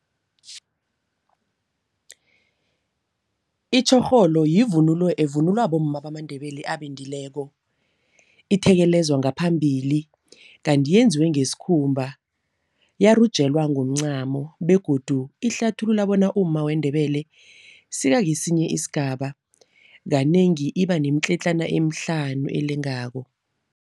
Itjhorholo yivunulo evunulwa bomma bamaNdebele abendileko. Ithekelezwa ngaphambili, kanti yenziwe ngesikhumba. Yarujelwa ngomncamo begodu ihlathulula bona umma weNdebele sekakesinye isigaba. Kanengi iba nemitletlana emihlanu elengako.